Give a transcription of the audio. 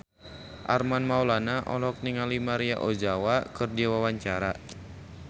Armand Maulana olohok ningali Maria Ozawa keur diwawancara